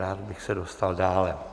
Rád bych se dostal dále.